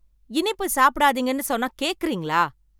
இனிப்பு சாப்பிடாதீங்க ன்னு சொன்னா கேக்குறீங்களா